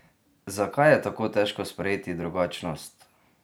Zakaj je tako težko sprejeti drugačnost?